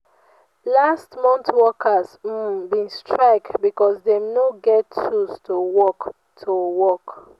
last mont workers um bin strike because dem no get tools to work. to work.